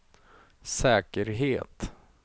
säkerhet